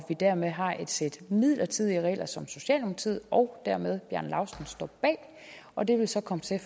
vi dermed har et sæt midlertidige regler som socialdemokratiet og dermed også bjarne laustsen står bag og det vil så